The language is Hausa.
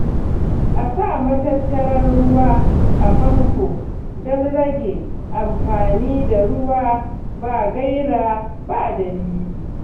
A sa matattarar ruwa a famfo don rage amfani da ruwa ba gaira ba dalili.